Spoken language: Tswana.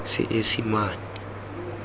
seesemane